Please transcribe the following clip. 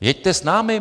Jeďte s námi.